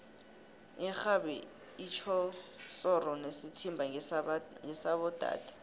ixhabi itjhoshoro nesithimba ngesaba dade